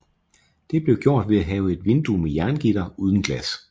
Det blev gjort ved at have et vindue med jerngitter uden glas